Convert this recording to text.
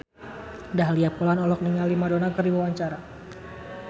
Dahlia Poland olohok ningali Madonna keur diwawancara